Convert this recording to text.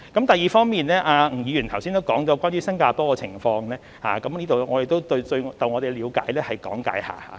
第二方面，吳議員剛才也提到新加坡的情況，我在這裏亦就我們的理解講解一下。